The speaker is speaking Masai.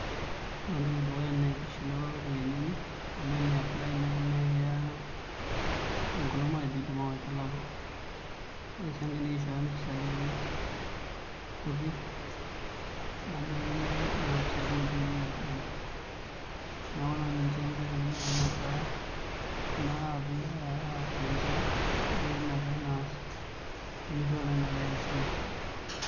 Ore entoki edukuya na kishelewa ropiyani enye amu eniapply nai na keyaa enkolong matejo kidim awaita naboore si enkae na kishooyo mpisai kutik nebaki na mpisai kumok duo iyieu oltungani, neaku nona nkoitoi kua eapi ninche nemenare peya silen.